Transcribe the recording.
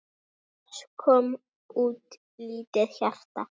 Loks kom út lítið hjarta